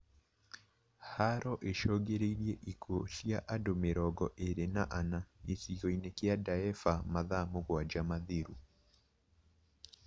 Haro icũngĩrĩirie ikuũ cia andũ mĩrongo ĩrĩ na ana, gĩcigo-inĩ kia Daefur mathaa mũgwanja mathiru